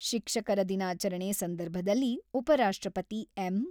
ಶಿಕ್ಷಕರ ದಿನಾಚರಣೆ ಸಂದರ್ಭದಲ್ಲಿ ಉಪ ರಾಷ್ಟ್ರಪತಿ ಎಂ.